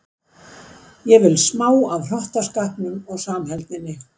Ég vil smá af hrottaskapnum og samheldninni.